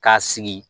K'a sigi